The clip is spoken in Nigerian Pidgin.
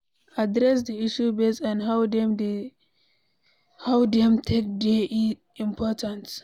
Address di issue based on how dem take dey important